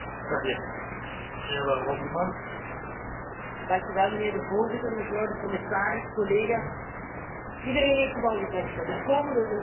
Mijnheer de voorzitter, mevrouw de commissaris, collega's, iedereen heeft het al gezegd de komende Europese verkiezingen zullen uiterst belangrijk zijn voor onze toekomst.